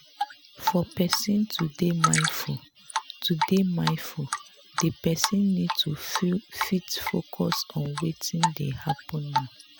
for person to dey mindful to dey mindful di person need to fit focus on wetin dey happen now